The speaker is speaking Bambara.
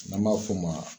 N'an b'a f'o ma